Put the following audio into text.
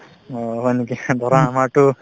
অ, হয় নেকি ধৰা আমাৰতো